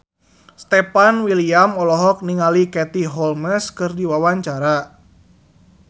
Stefan William olohok ningali Katie Holmes keur diwawancara